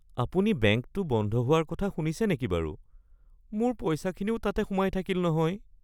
আপুনি বেংকটো বন্ধ হোৱাৰ কথা শুনিছে নেকি বাৰু? মোৰ পইচাখিনিও তাতে সোমাই থাকিল নহয় (বন্ধু ১)